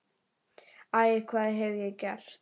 Æ, hvað hef ég gert?